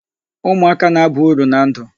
Umuaka na-aba uru na ndụ.